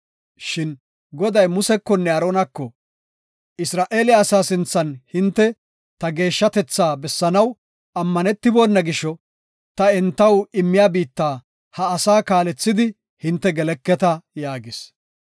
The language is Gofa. Shin Goday Musekonne Aaronako, “Isra7eele asaa sinthan hinte ta geeshshatetha bessanaw ammanetibona gisho ta entaw immiya biitta ha asaa kaalethidi hinte geleketa” yaagis.